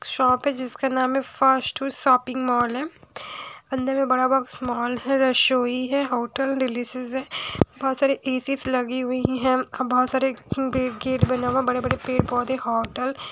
shop है जिसका नाम है फास्ट फूड शॉपिंग मॉल है अंदर में बड़ा सा मॉल है रसोई है होटल डिलीशियस हैं बहोत सारी ए_सी लगी हुई हैं बहोत सारे बैरिकेड बना हुआ है बड़े बड़े पेड़ पौधे होटल --